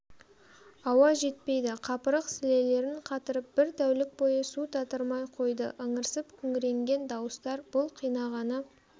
ауа жетпейді қапырық сілелерін қатырып бір тәулік бойы су татырмай қойды ыңырсып күңіренген дауыстар бұл қинағаны